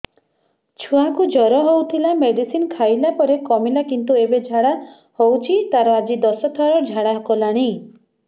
ଛୁଆ କୁ ଜର ହଉଥିଲା ମେଡିସିନ ଖାଇଲା ପରେ କମିଲା କିନ୍ତୁ ଏବେ ଝାଡା ହଉଚି ତାର ଆଜି ଦଶ ଥର ଝାଡା କଲାଣି